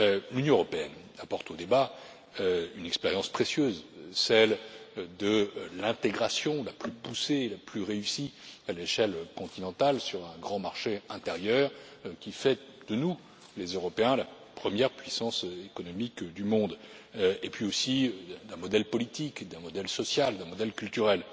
L'Union européenne apporte au débat une expérience précieuse, celle de l'intégration la plus poussée, la plus réussie à l'échelle continentale sur un grand marché intérieur, qui fait de nous, les Européens, la première puissance économique du monde, et puis aussi d'un modèle politique, d'un modèle social, d'un modèle culturel.